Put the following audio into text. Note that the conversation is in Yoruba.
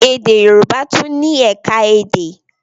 Èdè Yorùbá tún ni ẹ̀ka èdè.